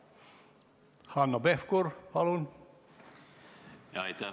Hanno Pevkur, palun!